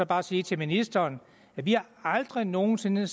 bare sige til ministeren at vi aldrig nogensinde